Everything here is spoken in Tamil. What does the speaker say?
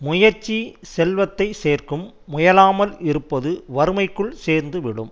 முயற்சி செல்வத்தை சேர்க்கும் முயலாமல் இருப்பது வறுமைக்குள் சேர்ந்து விடும்